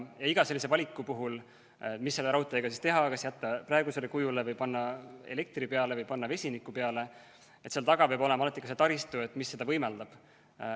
Iga sellise valiku puhul, mis selle raudteega teha – kas jätta praegusele kujule või panna elektri peale või panna vesiniku peale –, peab seal taga olema ikkagi ka taristu, mis seda võimaldab.